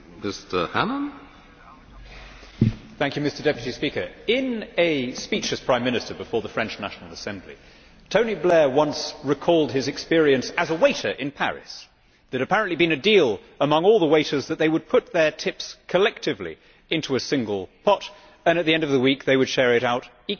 Mr President, in a speech as Prime Minister before the French National Assembly, Tony Blair once recalled his experience as a waiter in Paris. There had apparently been a deal among all the waiters that they would put their tips collectively into a single pot and at the end of the week they would share the money out equally.